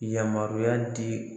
Yamaruya di